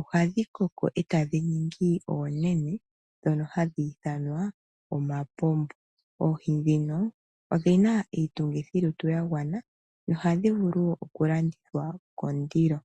ohadhi koko e tadhi ningi oonene ndhono hadhi ithanwa omapumbu. Oohi ndhino odhina iitungithilutu yagwana nohadhi vulu oku landithwa kondilo.